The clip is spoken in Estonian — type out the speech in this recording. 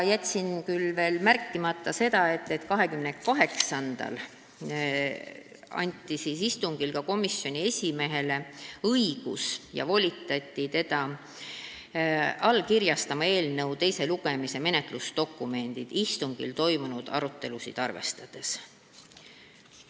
Jätsin veel märkimata selle, et 28. mai istungil volitati komisjoni esimeest allkirjastama eelnõu teise lugemise menetlusdokumendid istungil toimunud arutelusid arvestades.